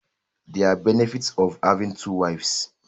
There are benefits of having two wives